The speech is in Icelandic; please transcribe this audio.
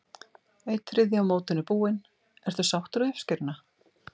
Einn þriðji af mótinu búinn, ertu sáttur við uppskeruna?